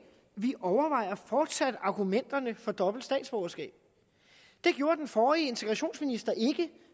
vi overvejer fortsat argumenterne for dobbelt statsborgerskab det gjorde den forrige integrationsminister ikke